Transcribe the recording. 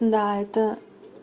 да это